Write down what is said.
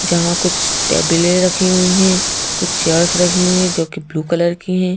जहां कुछ टेबल ये रखी हुई हैं कुछ चेयर्स रखी हुई हैं जो कि ब्लू कलर की हैं।